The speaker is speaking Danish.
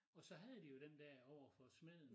Og så havde de jo den dér overfor smeden